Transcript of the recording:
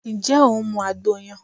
Ǹjẹ́ o tí ń mu àgbo yẹn?